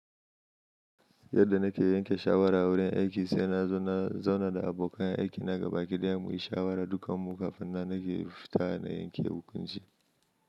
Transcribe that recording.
Yadda na ke yanke shawara a wurin aiki, sai na zauna da abokan aiki na gaba ki ɗaya mu yi shawara dukan mu kafin na nake fita na yanke hukunci.